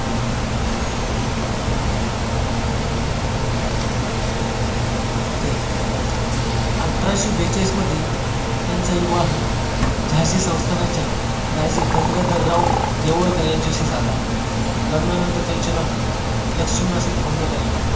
तर अठराशे बेचाळीस मध्ये त्यांचा विवाह झांसी संस्थानाच्या राजे गंगाधरराव नेवाळकर यांच्याशी झाला. लग्नानंतर त्याचे नाव लक्ष्मी असे ठेवण्यात आले